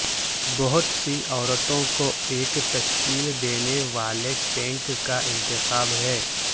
بہت سی عورتوں کو ایک تشکیل دینے والے ٹینک کا انتخاب ہے